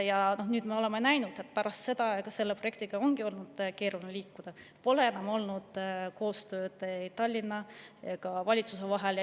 Ja me oleme näinud, et pärast seda aega ongi selle projektiga olnud keeruline edasi liikuda, pole enam olnud koostööd Tallinna ja valitsuse vahel.